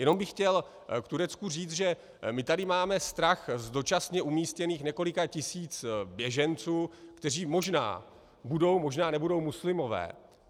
Jenom bych chtěl k Turecku říct, že my tady máme strach z dočasně umístěných několika tisíc běženců, kteří možná budou, možná nebudou muslimové.